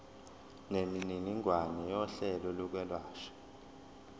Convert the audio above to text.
nemininingwane yohlelo lokwelashwa